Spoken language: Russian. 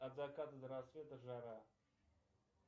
от заката до рассвета жара